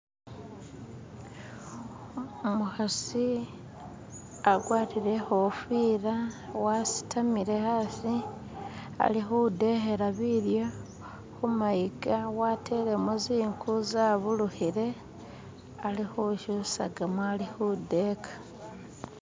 Umukhasi agwatile ikhofila wasitamile hasi alikhudekhela bilyo khumayiga watelemom zikhu zabulukhile alikhushusagamo alikhudeka